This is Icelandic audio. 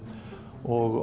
og